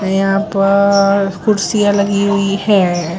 यहां पर कुर्सियां लगी हुई है।